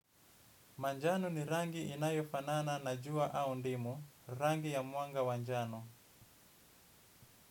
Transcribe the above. Manjano ni rangi inayofanana na jua au ndimu, rangi ya mwanga wa njano.